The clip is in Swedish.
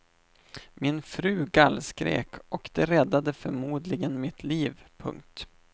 Min fru gallskrek och det räddade förmodligen mitt liv. punkt